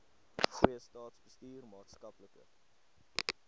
goeie staatsbestuur maatskaplike